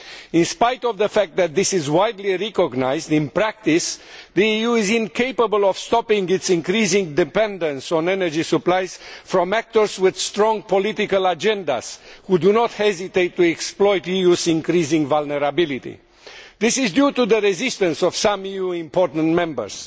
In spite of the fact that this is widely recognised, in practice, the EU is incapable of stopping its increasing dependence on energy supplies from actors with strong political agendas who do not hesitate to exploit the EU's increasing vulnerability. This is due to the resistance of some new important members.